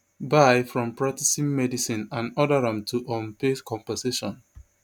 bye from practising medicine and order am to um pay compensation